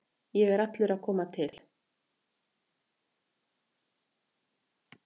Ég er að koma allur til.